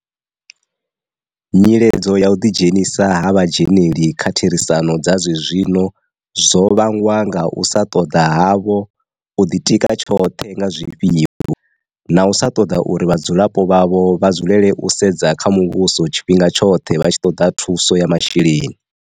Nyiledzo ya u ḓi dzhenisa ha vhadzheneli kha therisano dza zwezwino zwo vha ngwa nga u sa ṱoḓa havho u ḓitika tshoṱhe nga zwifhiwa, na u sa ṱoḓa uri vhadzulapo vhavho vha dzulele u sedza kha muvhuso tshifhinga tshoṱhe vha tshi ṱoḓa thuso ya masheleni.